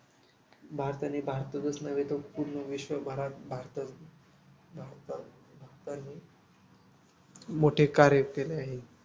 भारताने भारतातच नव्हे तर पूर्ण विश्वभरात मोठे कार्य केले आहे